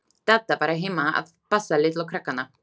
Dadda var heima að passa litlu krakkana.